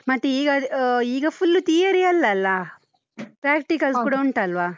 ಮತ್ತೇ ಈಗ, ಅಹ್ ಈಗ full theory ಅಲ್ಲಲ್ಲ? practicals ಕೂಡ ಉಂಟಲ್ವಾ?